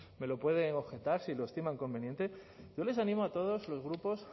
me lo pueden objetar si lo estiman conveniente yo les animo a todos los grupos